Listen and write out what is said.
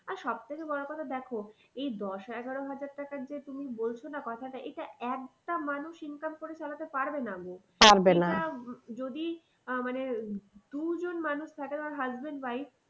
আর সব থেকে বড় কথা দেখো এই দশ এগারো আহাজার টাকার যে বলছো না তুমি কথাটা এটা একটা মানুষ income করে চালাতে পারবে না। এটা যদি আহ মানে দুজন মানুষ husband wife